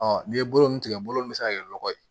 Ɔ n'i ye bolo ninnu tigɛ bolo nin bɛ se ka kɛ lɔgɔ ye